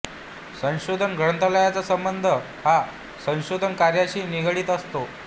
संशोधन ग्रंथालयाचा संबध हा संशोधन कार्याशी निगडित असतो